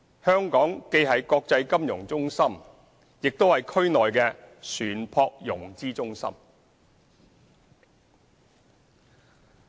香港既是國際金融中心，也是區內的船舶融資中心。